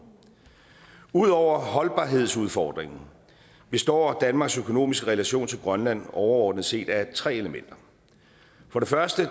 ud over holdbarhedsudfordringen består danmarks økonomiske relation til grønland overordnet set af tre elementer for det første